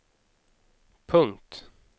punkt